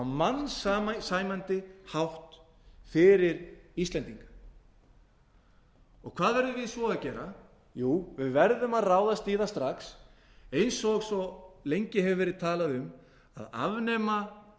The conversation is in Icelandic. mannsæmandi hátt fyrir íslendinga hvað verðum við svo að gera jú við verðum að ráðast í það strax eins og svo lengi hefur verið talað um að afnema